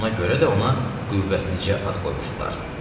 Ona görə də ona qüvvəticə ad qoymuşdular.